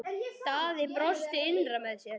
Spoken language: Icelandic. Daði brosti innra með sér.